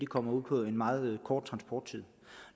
kommer ud på en meget kort transporttur og